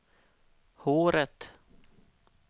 håret